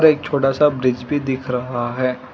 एक छोटा सा ब्रिज भी दिख रहा है।